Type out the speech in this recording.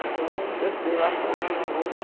Então, eu estudei lá só um ano à noite.